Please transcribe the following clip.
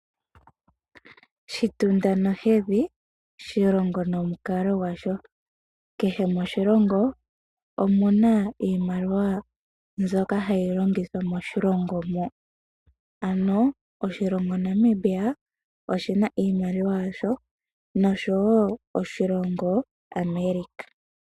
Shitunda nohedhi, shilongo nomukalo gwasho. Kehe moshilongo omuna iimaliwa mbyoka hayi longithwa moshilongo mo. Ano oshilongo Namibia oshina iimaliwa ya sho, nosho wo oshilongo America.